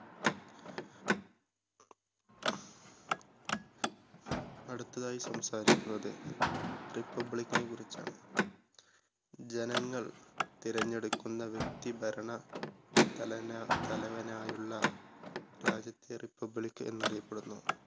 അടുത്തതായി സംസാരിക്കുന്നത് republic നെ കുറിച്ചാണ്. ജനങ്ങൾ തെരഞ്ഞെടുക്കുന്ന വ്യക്തി ഭരണ തലനാ തലവനായുള്ള രാജ്യത്തെ republic എന്ന് അറിയപ്പെടുന്നു.